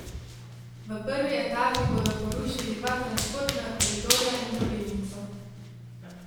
V prvi etapi bodo porušili dva transportna koridorja in drobilnico.